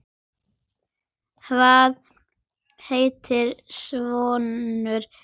Hvað heitir sonur þinn?